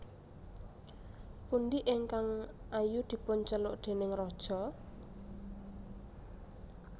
Pundi ingkang ayu dipunceluk déning raja